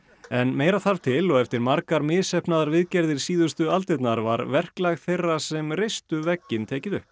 en meira þarf til og eftir margar misheppnaðar viðgerðir síðustu aldirnar var verklag þeirra sem reistu vegginn tekið upp